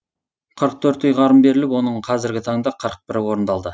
қырық төрт ұйғарым беріліп оның қазіргі таңда қырық бірі орындалды